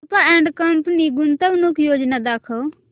Rupa and company गुंतवणूक योजना दाखव